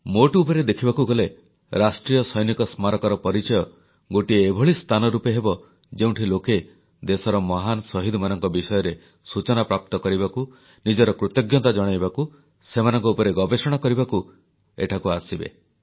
ମୋଟ ଉପରେ ଦେଖିବାକୁ ଗଲେ ରାଷ୍ଟ୍ରୀୟ ସୈନିକ ସ୍ମାରକୀର ପରିଚୟ ଗୋଟିଏ ଏଭଳି ସ୍ଥାନ ରୂପେ ହେବ ଯେଉଁଠି ଲୋକେ ଦେଶର ମହାନ ଶହୀଦମାନଙ୍କ ବିଷୟରେ ସୂଚନା ପ୍ରାପ୍ତ କରିବାକୁ ନିଜର କୃତଜ୍ଞତା ଜଣାଇବାକୁ ସେମାନଙ୍କ ଉପରେ ଗବେଷଣା କରିବାକୁ ଏଠାକୁ ଆସିବେ